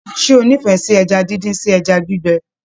Ṣe o n'ifẹ sí ẹja díndín sí ẹja gbígbẹ?